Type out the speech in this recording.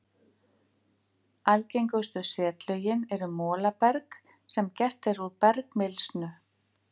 Algengustu setlögin eru molaberg sem gert er úr bergmylsnu.